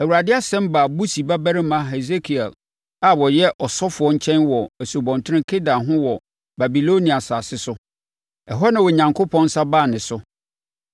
Awurade asɛm baa Busi babarima Hesekiel a ɔyɛ ɔsɔfoɔ nkyɛn wɔ Asubɔnten Kebar ho wɔ Babilonia asase so. Ɛhɔ na Onyankopɔn nsa baa ne so.